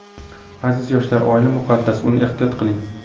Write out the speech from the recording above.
Aziz yoshlar, oila muqaddas, uni ehtiyot qiling.